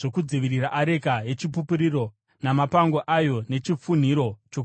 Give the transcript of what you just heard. areka yeChipupuriro namapango ayo nechifunhiro chokuyananisa;